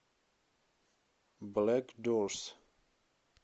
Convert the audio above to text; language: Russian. блэкдорс